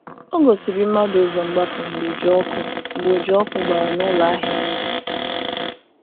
Ọ gòsìrì̀ mmadụ ụzọ́ mgbapụ̀ mgbe ụja ọkụ̀ mgbe ụja ọkụ̀ gbara n’ụlọ ahịa.